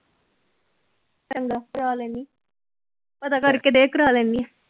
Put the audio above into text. ਚੰਗਾ ਕਰਵਾ ਲੈਨੀ ਪਤਾ ਕਰਕੇ ਦੇ ਕਰਾ ਲੈਨੀ।